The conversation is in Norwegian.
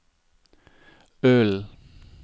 Ølen